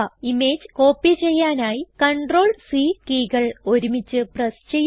image copy ചെയ്യാനായി CTRL C കീകൾ ഒരുമിച്ച് പ്രസ് ചെയ്യുക